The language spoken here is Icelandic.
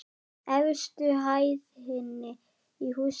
Efstu hæðinni í húsinu.